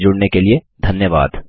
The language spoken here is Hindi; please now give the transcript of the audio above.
हमसे जुड़ने के लिए धन्यवाद